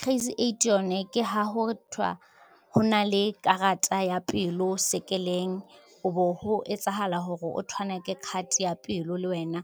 Crazy eight yone ke ha ho thwa ho na le karata ya pelo sekepeleng o bo ho etsahala hore o thwanake card ya pelo le wena